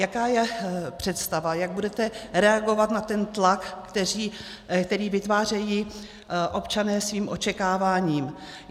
Jaká je představa, jak budete reagovat na ten tlak, který vytvářejí občané svým očekáváním?